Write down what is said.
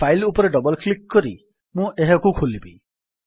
file ଉପରେ double click କରି ମୁଁ ଏହାକୁ ଖୋଲିବି